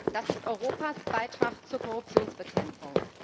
Das ist Europas Beitrag zur Korruptionsbekämpfung.